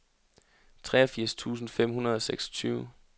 treogfirs tusind fem hundrede og seksogtyve